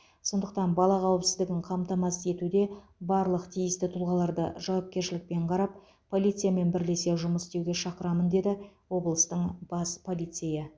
сондықтан бала қауіпсіздігін қамтамасыз етуде барлық тиісті тұлғаларды жауапкершілікпен қарап полициямен бірлесе жұмыс істеуге шақырамын деді облыстың бас полицейі